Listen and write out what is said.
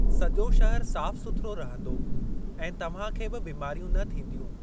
सॼो शहर साफ़ु सुथिरो रहंदो ऐं तव्हां खे बि बीमारियूं न थींदियूं।